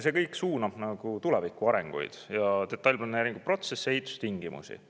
See kõik suunab tuleviku arengut, detailplaneeringu protsessi ja ehitustingimusi.